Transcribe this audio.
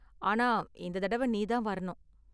ஆனா இந்த தடவ நீ தான் வரணும்.